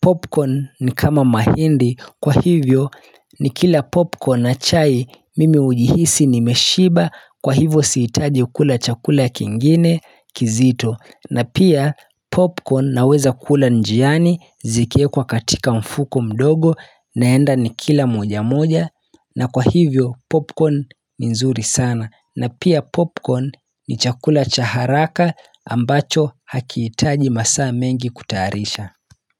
Popcorn ni kama mahindi, kwa hivyo nikila popcorn na chai mimi ujihisi nimeshiba Kwa hivyo sihitaji kula chakula kingine, kizito na pia popcorn naweza kula njiani, zikiwekwa katika mfuko mdogo, naenda nikila moja moja na kwa hivyo popcorn ni nzuri sana na pia popcorn ni chakula cha haraka ambacho hakihitaji masaa mengi kutayarisha.